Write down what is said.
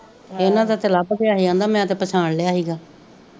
ਇਹਨਾਂ ਦਾ ਤੇ ਲਬ ਗਿਆ ਸੀ ਕਹਿੰਦਾ ਮੈ ਤੇ ਪਛਾਣ ਲੇਆ ਸੀਗਾ